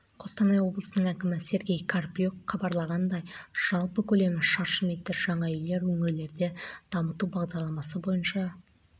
салынуда және қостанай қаласы әкімдігінің кезегінде тұрған адамдарға арналған тұрғын үй кешендерінде пәтер бар олардың